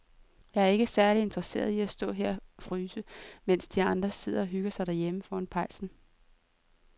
Jeg er ikke særlig interesseret i at stå og fryse her, mens de andre sidder og hygger sig derhjemme foran pejsen.